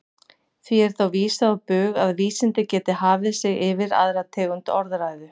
Því er þá vísað á bug að vísindi geti hafið sig yfir aðrar tegundir orðræðu.